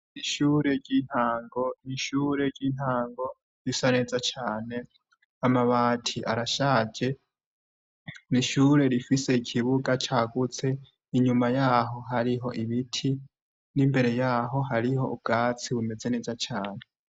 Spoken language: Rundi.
Ishure ry'intango. Ni shure ry'intango risa neza cane, amabati arashaje, ni ishure rifise ikibuga cagutse, inyuma yaho hariho ibiti n'imbere yaho hariho ubwatsi bumeze neza cane.